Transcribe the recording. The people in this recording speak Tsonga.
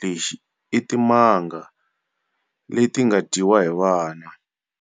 lexi i"Timanga" leti nga dyiwa hi vana.